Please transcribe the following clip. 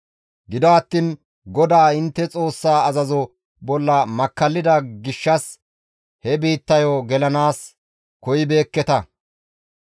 «Gido attiin GODAA intte Xoossaa azazo bolla makkallida gishshas he biittayo gelanaas koyibeekketa.